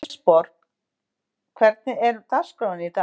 Kristborg, hvernig er dagskráin í dag?